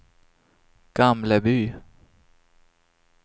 Gamleby